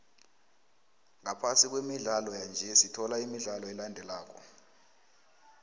ngaphasi kwemidlalo yanje sithola imidlalo elandelako